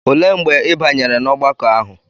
Olee mgbe ị banyere n'ọgbakọ ahụ?